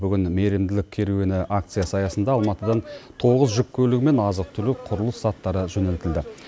бүгін мейірімділік керуені акциясы аясында алматыдан тоғыз жүк көлігі мен азық түлік құрылыс заттары жөнелтілді